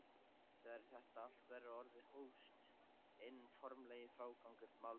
Þegar þetta allt var orðið hófst hinn formlegi frágangur málsins.